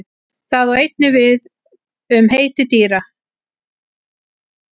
Það á einnig við við um heiti dýra.